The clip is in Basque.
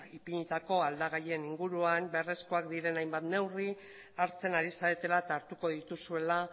ipinitako aldagaien inguruan beharrezkoak diren hainbat neurri hartzen ari zaretela eta hartuko dituzuela